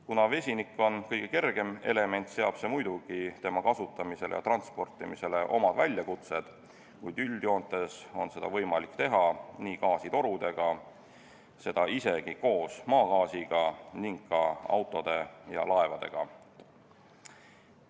Kuna vesinik on kõige kergem element, seab see muidugi tema kasutamisele ja transportimisele omad piirid, kuid üldjoontes on seda võimalik teha nii gaasitorudega, isegi koos maagaasiga, kui ka autode ja laevadega.